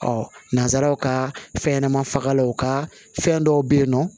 Ɔ nansaraw ka fɛnɲɛnɛmani fagalanw ka fɛn dɔw bɛ yen nɔ